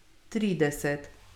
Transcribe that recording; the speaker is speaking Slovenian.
Trideset.